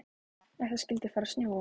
Ef það skyldi fara að snjóa.